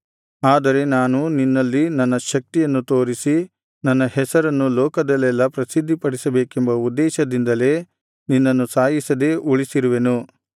ಆದರೆ ನಾನು ನಿನ್ನಲ್ಲಿ ನನ್ನ ಶಕ್ತಿಯನ್ನು ತೋರಿಸಿ ನನ್ನ ಹೆಸರನ್ನು ಲೋಕದಲ್ಲೆಲ್ಲಾ ಪ್ರಸಿದ್ಧಿಪಡಿಸಬೇಕೆಂಬ ಉದ್ದೇಶದಿಂದಲೇ ನಿನ್ನನ್ನು ಸಾಯಿಸದೇ ಉಳಿಸಿರುವೆನು